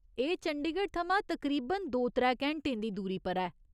एह् चंडीगढ़ थमां तकरीबन दो त्रै घैंटें दी दूरी पर ऐ।